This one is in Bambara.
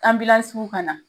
ka na